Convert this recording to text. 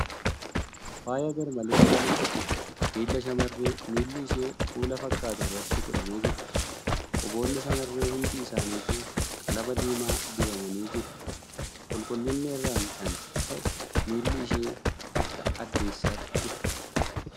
Faayaan garmalee qaalii ta'e miila shamarree miilli ishee kuula fakkatu irratti godhamee jira. Quboonni shamarree hundi isaanituu qalama diimaa dibamanii jiru. Qulqullina irraan kan ka'e miilli ishee akka addeessatti ifa.